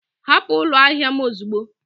Hapụ ụlọ ahịa m ozugbo!